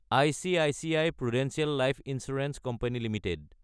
ICICI Prudential life insurance company Ltd